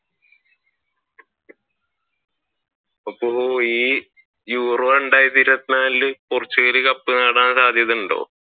അപ്പൊ ഈ Euro രണ്ടായിരത്തി ഇരുപത്തി നാലിൽ പോർച്ചുഗൽ കപ്പ് നേടാൻ സാധ്യത ഉണ്ടോ?